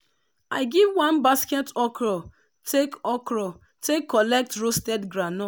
i give one basket okro take okro take collect roasted groundnut.